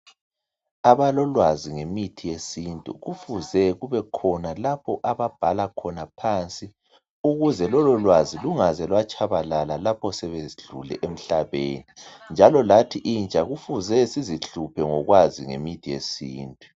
Abalolwazi ngemithi yesintu kufuze kube khona lapho ababhala khona phansi ukuze lolo lwazi lungaze lwatshabalala lapho sebedlule emhlabeni. Njalo lathi intsha kufuze sizihluphe ngokwazi ngemithi yesintu.